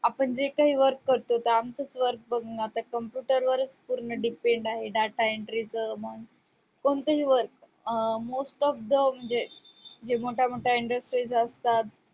आपण जे काही work करतो त आमचच work बग ना computer वरच depend आहे data entry च मग कोणताही work most of the म्हणजे मोठ्या मोठ्या industries असतात